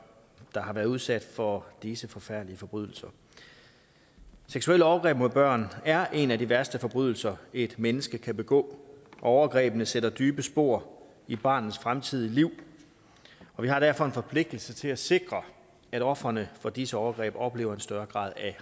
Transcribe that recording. der har været udsat for disse forfærdelige forbrydelser seksuelle overgreb mod børn er en af de værste forbrydelser et menneske kan begå og overgrebene sætter dybe spor i barnets fremtidige liv og vi har derfor en forpligtelse til at sikre at ofrene for disse overgreb oplever en større grad af